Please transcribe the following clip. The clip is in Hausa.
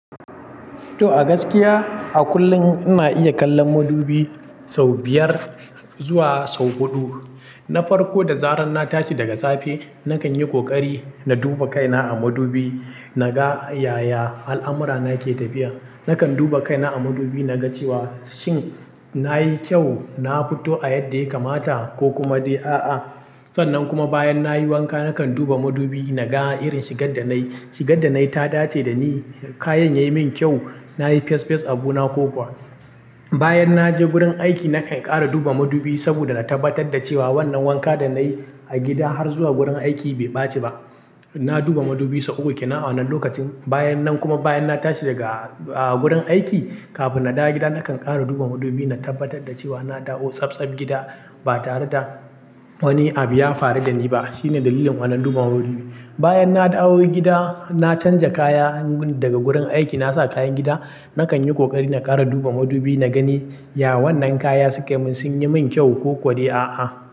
To a gaskiya a kullum ina iya kallon madubi sau biyar zuwa sau huɗu. Na farko da zarar na tashi daga safe, nakan yi ƙoƙari na duba kaina a madubi naga yaya al'amura nake tafiya. Nakan duba kaina a madubi naga cewa shin nayi kyau, na fito a yadda yake mata ko kuma dai a'a. Sannan kuma bayan nayi wanka nakan duba madubi naga irin shigar da nayi. Shigar da nayi ta dace da ni, kayan yayi min kyau, nayi fes fes a bu na ko kuwa. Bayan naje gurin aiki nakan ƙara duba madubi saboda na tabbatar da cewa wannan wanka da nayi a gida har zuwa gurin aiki bai ɓaci ba. Na duba madubi sau uku a wannan lokacin. Bayan nan kuma bayan na tashi daga, ah, gurin aiki kafin na dawo gida nakan ƙara duba madubi na tabbatar da cewa na dawo sab sab gida ba tare da wani abu ya faru da ni ba. Shine dalilin wannan duba madubi. Bayan na dawo gida, na canja kaya daga gurin aiki na sa kayan gida, nakan yi ƙoƙari na ƙara duba madubi na gani ya wannan kaya suka mun sun yi min kyau ko kuwa dai a'a.